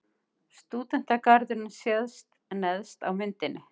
Stúdentagarðurinn sést neðst á myndinni.